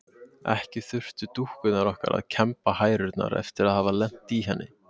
Ekki þurftu dúkkurnar okkar að kemba hærurnar eftir að hafa lent í henni.